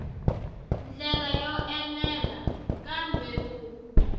ndlela yo enela kambe ku